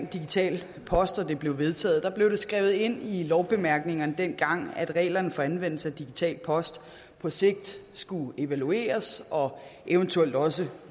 digital post og det blev vedtaget blev det skrevet ind i lovbemærkningerne at reglerne for anvendelse af digital post på sigt skulle evalueres og eventuelt også